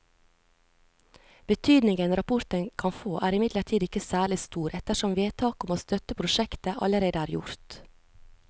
Betydningen rapporten kan få er imidlertid ikke særlig stor ettersom vedtaket om å støtte prosjektet allerede er gjort.